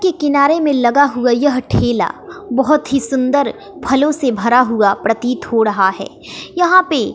के किनारे में लगा हुआ यह ठेला बहोत ही सुंदर फलों से भरा हुआ प्रतीत हो रहा है यहां पे--